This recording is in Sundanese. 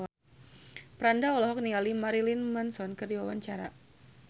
Franda olohok ningali Marilyn Manson keur diwawancara